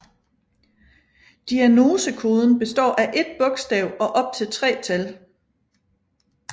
Diagnosekoden består af ét bogstav og op til tre tal